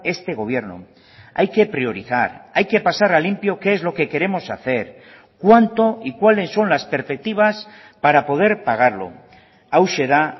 este gobierno hay que priorizar hay que pasar a limpio qué es lo que queremos hacer cuánto y cuáles son las perspectivas para poder pagarlo hauxe da